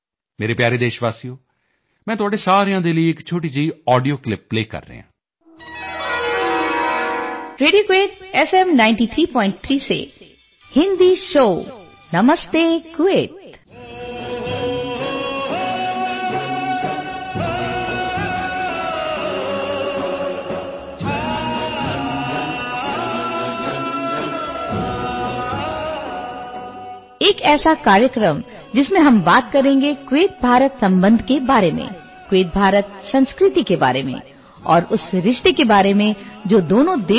ਮੇਰੇ ਪਿਆਰੇ ਦੇਸ਼ਵਾਸੀਓ ਮੈਂ ਤੁਹਾਡੇ ਸਾਰਿਆਂ ਦੇ ਲਈ ਇੱਕ ਛੋਟੀ ਜਿਹੀ ਆਡੀਓ ਕਲਿੱਪ ਪਲੇਅ ਕਰ ਰਿਹਾ ਹਾਂ